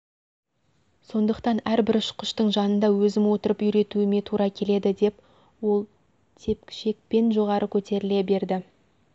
сондықтан әрбір ұшқыштың жанында өзім отырып үйретуіме тура келеді деп ол тепкішекпен жоғары көтеріле берді